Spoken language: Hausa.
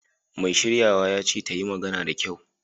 Mai shiryawa ya ce ta yi magana da kyau!